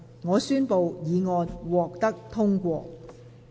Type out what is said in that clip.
我宣布議案獲得通過。